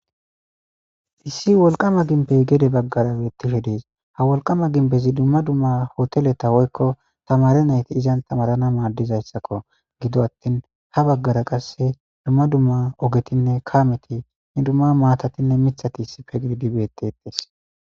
issi wolqama ginbey gede baggarawe tihe dees ha wolqama ginbezi dumma dumma hotele tawoykko tamare nayti izan tamarana maadizayssakko gido attin ha baggara qasse dumma dumma ogetinne kaameti ni dumma maatatinne mithati issife giddibettetes